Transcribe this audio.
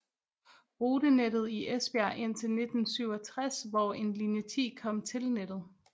Rutenettet i Esbjerg indtil 1967 hvor en linje 10 kom til nettet